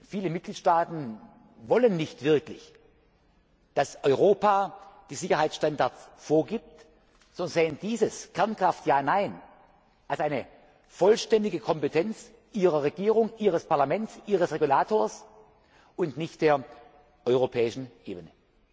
Viele Mitgliedstaaten wollen nicht wirklich, dass Europa die Sicherheitsstandards vorgibt, sie sehen dieses Ja oder Nein zur Kernkraft als eine vollständige Kompetenz ihrer Regierung, ihres Parlaments, ihres Regulators und nicht der europäischen Ebene.